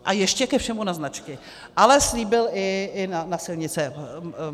A ještě ke všemu na značky, ale slíbil i na silnice.